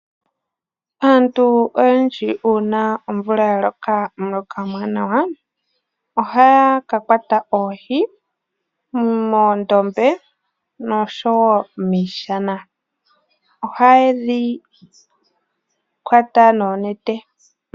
Aantu oyendji uuna omvula ya loka omuloka omwanawa, oha ya ka kwata oohi momandombe nosho woo miishana. Oha ye dhi kwata noonete.